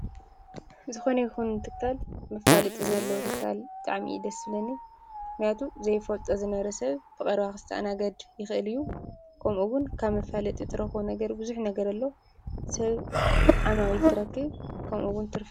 ዝኾነ ይኹን ትካል መፋለጢ ዘለዎ ትካል ብጣዕሚ እዩ ደስ ዝብለኒ፡፡ ምኽንያቱም ዘይፈልጦ ዝነበረ ሰብ ብቐረባ ክስተኣናገድ ይኽእል እዩ፡፡ ከምኡውን ካብ መፋለጢ ትረኽቦ ነገር ብዙሕ ነገር ኣሎ፣ ሰብ ዓማዊል ትረክብ፣ ከምኡውን ትርፍ...